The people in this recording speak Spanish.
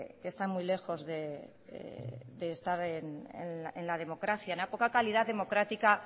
que están muy lejos de estar en la democracia en la poca calidad democrática